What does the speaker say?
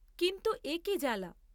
কিন্তু এ কি জ্বালা?